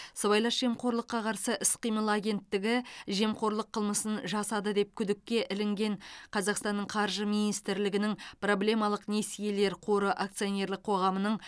сыбайлас жемқорлыққа қарсы іс қимыл агенттігі жемқорлық қылмысын жасады деп күдікке ілінген қазақстанның қаржы министрлігінің проблемалық несиелер қоры акционерлік қоғамының